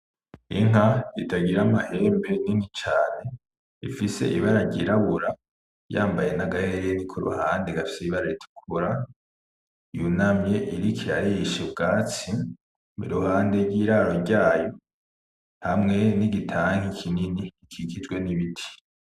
Inka itagira amahembe nini cane ifise ibara ryirabura, yambaye n’agahereni ku ruhande gafise ibara ritukura , yunamye iriko irarisha ubwatsi iruhande y’iraro ryayo hamwe nigi tanki kinini gikikujwe n’ibiti.